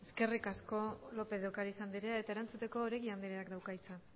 eskerri asko lópez de ocariz andrea eta erantzuteko oregi andreak dauka hitza